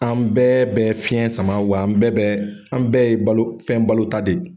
An bɛɛ bɛn fiɲɛ sama wa, an bɛɛ an bɛɛ ye balo fɛn balo ta de.